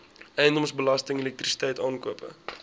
eiendomsbelasting elektrisiteit aankope